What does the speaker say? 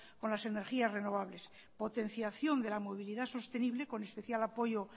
con las energías renovables potenciación de la movilidad sostenible con especial apoyo